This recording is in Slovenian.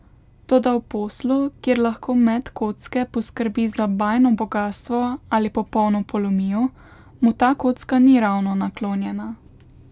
Toda v poslu, kjer lahko met kocke poskrbi za bajno bogastvo ali popolno polomijo, mu ta kocka ni ravno naklonjena.